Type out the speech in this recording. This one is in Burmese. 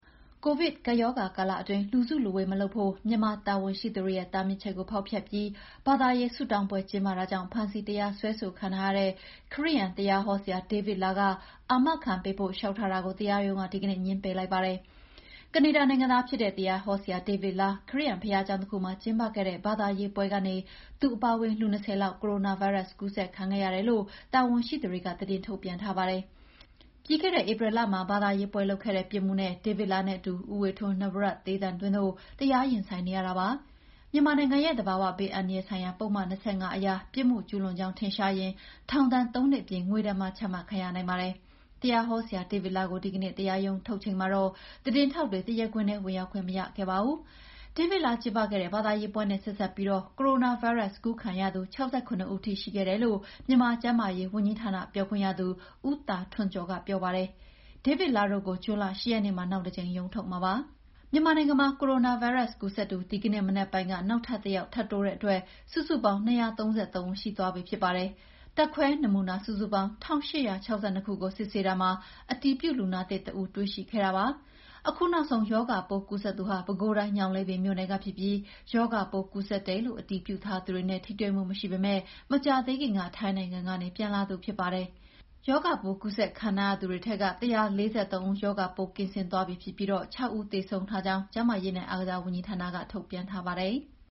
ကိုဗစ်ကပ်ရောဂါကာလအတွင်း လူစုလူဝေး မလုပ်ဖို့ မြန်မာတာဝန်ရှိသူတွေရဲ့တားမြစ်ချက်ကို ဖောက်ဖျက်ပြီး ဘာသာရေး ဆုတောင်းပွဲကျင်းပတာကြောင့် ဖမ်းဆီးတရားစွဲခံထားရတဲ့ ခရစ်ယာန် တရားဟောဆရာ ဒေးဗစ်လားက အာမခံပေးဖို့ လေ ျှာက်ထားတာကို တရားရုံးက ဒီကနေ့ ငြင်းပယ်လိုက်ပါတယ်။ ကနေဒါနိုင်ငံသားဖြစ်တဲ့ တရားဟောဆရာဒေးဗစ်လား ခရစ်ယာန်ဘုရားကျောင်းတခုမှာကျင်းပခဲ့တဲ့ ဘာသာရေးပွဲကနေ သူအပါအဝင် လူ ၂၀ လောက် ကိုရိုနာဗိုင်းရပ်စ် ကူးစက်ခံခဲ့ရတယ်လို့ တာဝန်ရှိသူတွေက သတင်းထုတ်ပြန်ထားပါတယ်။ ပြီးခဲ့တဲ့ ဧပြီလမှာ ဘာသာရေးပွဲလုပ်ခဲ့တဲ့ ပြစ်မှုနဲ့ ဒေးဗစ်လားနဲ့အတူ ဦးဝေထွန်း (နဝရတ်တေးသံသွင်း) တို့ တရားရင်ဆိုင်နေရတာပါ။ မြန်မာနိုင်ငံရဲ့ သဘာဝဘေးအန္တရာယ်ဆိုင်ရာ ပုဒ်မ ၂၅ အရ ပြစ်မှုကျူးလွန်ကြောင်း ထင်ရှားရင် ထောင်ဒဏ် ၃ နှစ်အပြင် ငွေဒဏ်ပါ ချမှတ်ခံရနိုင်ပါတယ်။ တရားဟောဆရာဒေးဗစ်လားကို ဒီကနေ့ တရားရုံးထုတ်ချိန်မှာတော့ သတင်းထောက်တွေ တရားခွင်ထဲ ဝင်ရောက်ခွင့် မရခဲ့ပါဘူး။ ဒေးဗစ်လား ကျင်းပခဲတဲ့ ဘာသာရေးပွဲနဲ့ ဆက်စပ်ပြီး ကိုရိုနာဗိုင်းရပ်စ်ကူးစက်ခံရသူ ၆၇ ဦးထိရှိခဲ့တယ်လို့ မြန်မာကျန်းမာရေးဝန်ကြီးဌာနပြောခွင့်ရသူ ဦးသာထွန်းကျော်က ပြောပါတယ်။ ဒေးဗစ်လားတို့ကို ဇွန်လ ၈ ရက်နေ့မှာနောက်တကြိမ်ရုံးထုတ်မှာပါ။ မြန်မာနိုင်ငံမှာ ကိုရိုနာဗိုင်းရပ်စ်ပိုး ကူးစက်သူ ဒီကနေ့မနက်ပိုင်းက နောက်ထပ် ၁ ယောက် ထပ်တိုးတဲ့အတွက် စုစုပေါင်း ၂၃၃ ဦးရှိသွားပြီဖြစ်ပါတယ်။ ဓာတ်ခွဲနမူနာစုစုပေါင်း ၁,၈၆၂ ခုကို စစ်ဆေးတာမှာ အတည်ပြုလူနာသစ် တစ်ဦးတွေ့ရှိခဲ့တာဖြစ်ပါတယ်။ အခုနောက်ဆုံး ရောဂါပိုးကူးစက်သူဟာ ပဲခူးတိုင်း၊ ညောင်လေးပင်မြို့နယ်ကဖြစ်ပြီး ရောဂါပိုးကူးစက်တယ်လို့ အတည်ပြုထားသူတွေနဲ့ ထိတွေ့မှုမရှိပေမဲ့ မကြာသေးခင်က ထိုင်းနိုင်ငံကနေ ပြန်လာသူဖြစ်ပါတယ်။ ရောဂါပိုးကူးစက်ခံထားရသူတွေထဲက ၁၄၃ ဦး ရောဂါပိုးကင်းစင်သွားပြီဖြစ်ပြီး ၆ ဦး သေဆုံးထားကြောင်း ကျန်းမာရေးနဲ့အားကစားဝန်ကြီးဌာနက ထုတ်ပြန်ထားပါတယ်။